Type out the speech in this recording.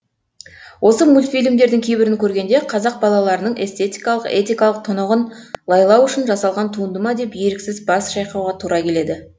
осы мультфильмдердің кейбірін көргенде қазақ балаларының эстетикалық этикалық тұнығын лайлау үшін жасалған туынды ма деп еріксіз бас шайқауға тура келеді